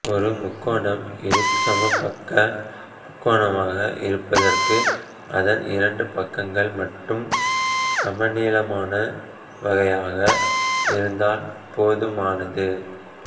ஒரு முக்கோணம் இருசமபக்க முக்கோணமாக இருப்பதற்கு அதன் இரண்டு பக்கங்கள் மட்டும் சமநீளமானவையாக இருந்தால் போதுமானது